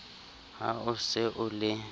ha o se o le